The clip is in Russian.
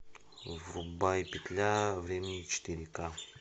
врубай петля времени четыре ка